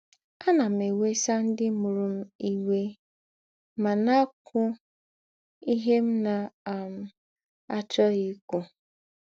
“ Ánà m èwèsà ńdị mụrụ m íwé mà na - àkwú ìhè m na - um àchọ́ghị ìkwú. ”